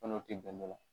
N'o tɛ bɛnnɛ la